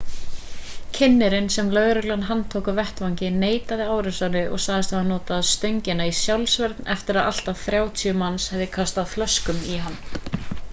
kynnirinn sem lögreglan handtók á vettvangi neitaði árásinni og sagðist hafa notað stöngina í sjálfsvörn eftir að allt að 30 manns hefðu kastað flöskum í hann